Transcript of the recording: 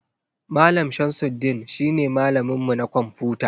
Mallam shamsudeen shi ne malamin mu na kwamfuta.